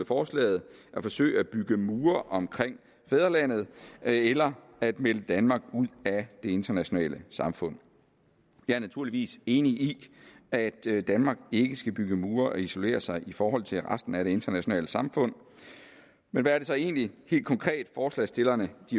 forslaget at forsøge at bygge mure omkring fædrelandet eller at melde danmark ud af det internationale samfund jeg er naturligvis enig i at danmark ikke skal bygge mure og isolere sig i forhold til resten af det internationale samfund men hvad er det så egentlig helt konkret forslagsstillerne